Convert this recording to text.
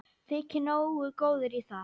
Þyki nógu góður í það.